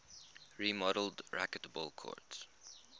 remodeled racquetball courts